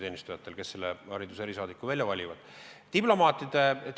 Nemad valivad hariduse erisaadiku välja.